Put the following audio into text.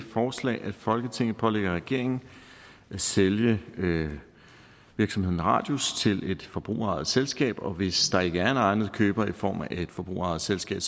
forslag at folketinget pålægger regeringen at sælge virksomheden radius til et forbrugerejet selskab og hvis der ikke er en egnet køber i form af et forbrugerejet selskab